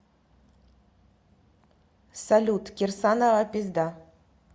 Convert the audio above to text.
салют кирсанова пизда